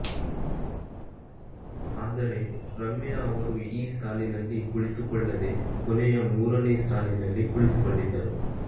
ಆದರೆ ರಮ್ಯಾ ಅವರು ಈ ಸಾಲಿನಲ್ಲಿ ಕುಳಿತುಕೊಳ್ಳದೇ ಕೊನೆಯ ಮೂರನೇ ಸಾಲಿನಲ್ಲಿ ಕುಳಿತುಕೊಂಡಿದ್ದರು